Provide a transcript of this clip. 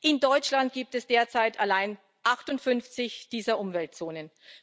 In Deutschland gibt es derzeit allein 58 dieser Umweltzonen.